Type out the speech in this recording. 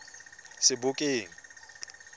sebokeng